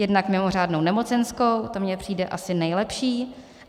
Jedna: mimořádnou nemocenskou, to mně přijde asi nejlepší.